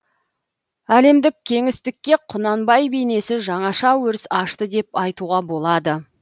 әлемдік кеңістікке құнанбай бейнесі жаңаша өріс ашты деп айтуға болады